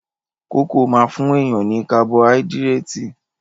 Kókò máa fún èèyàn ní kabọáídírétì